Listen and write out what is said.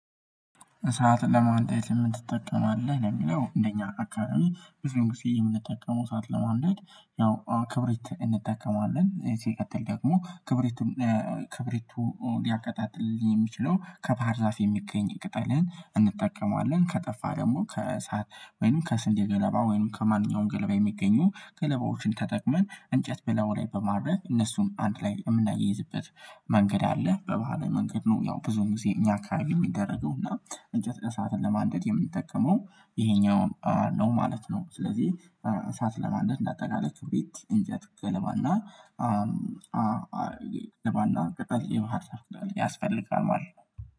እሳት ለማንደር ምንት ትጠቀማለህ? የሚለው እንደኛ አካባቢ ብዙዉን ጊዜ የምንጠቀመው እሳት ለማንደድ ነው ክብሪት እንጠቀማለን እዚህ ሲቀጥል ደግሞ ክብሪቱን። ክብሪቱ ሊያቀጣጥልኝ የሚችለው ከባህር ዛፍ የሚገኝ ቅጠልህን እንጠቀማለን ከጠፋ ደግሞ ከሰአት ወይንም ከስንዴ ገለባ ወይንም ከማንኛውም ገለባ የሚገኙ ገለባዎችን ተጠቅመን እንጨት ብላዩ ላይ በማረግ እነሱን አንድ ላይ የምናያይዝበት መንገድ አለ በባህለ መንገድ ነው። ያው ብዙም ጊዜ እኛ አካባቢ የሚደረገውና እንጨት እሳትን ለማንደድ የምንጠቀመው ይሄኛውን ነው ማለት ነው። ስለዚህ እሳት ለማንደድ እንዳጠቃላይ የቤት እንጨት ገለባና ገለባና ቅጠል የባህር ልብስ ያስፈልጋል ማለት ነው